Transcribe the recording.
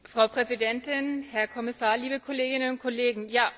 Frau Präsidentin, Herr Kommissar, liebe Kolleginnen und Kollegen!